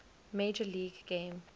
major league game